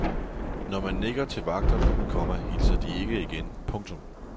Når man nikker til vagterne, komma hilser de ikke igen. punktum